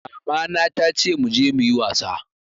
Mama na tace muje muyi wasa